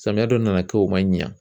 Samiya dɔ nana kɛ o ma ɲa